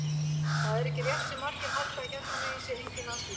Það er ekki rétt sem margir halda að hérna megin sé enginn lasleiki.